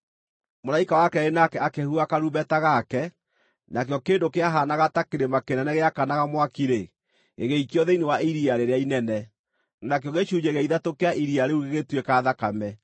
Mũraika wa keerĩ nake akĩhuha karumbeta gake, nakĩo kĩndũ kĩahaanaga ta kĩrĩma kĩnene gĩakanaga mwaki-rĩ, gĩgĩikio thĩinĩ wa iria rĩrĩa inene. Nakĩo gĩcunjĩ gĩa ithatũ kĩa iria rĩu gĩgĩtuĩka thakame,